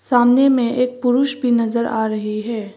सामने में एक पुरुष भी नजर आ रही है।